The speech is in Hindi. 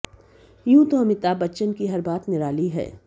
यूं तो अमिताभ बच्चन की हर बात निराली है